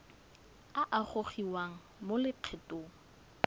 a a gogiwang mo lokgethong